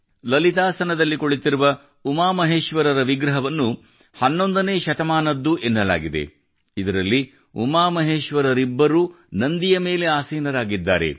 ಲಲಿತಾಸನದಲ್ಲಿ ಕುಳಿತಿರುವ ಉಮಾಮಹೇಶ್ವರರ ವಿಗ್ರಹವನ್ನು 11 ನೇ ಶತಮಾನದ್ದು ಎನ್ನಲಾಗಿದೆ ಇದರಲ್ಲಿ ಉಮಾಮಹೇಶ್ವರರಿಬ್ಬರೂ ನಂದಿಯ ಮೇಲೆ ಆಸೀನರಾಗಿದ್ದಾರೆ